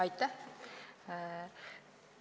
Aitäh!